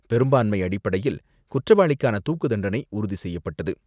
பெரும்பான்மை அடிப்படையில் குற்றவாளிக்கான தூக்குத் தண்டனை உறுதி செய்யப்பட்டது.